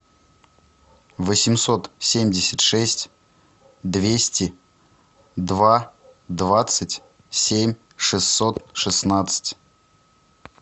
восемьсот семьдесят шесть двести два двадцать семь шестьсот шестнадцать